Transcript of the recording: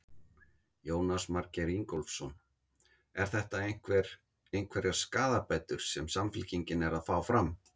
Jónas Margeir Ingólfsson: Er þetta einhver, einhverjar skaðabætur sem Samfylkingin er að fá fram?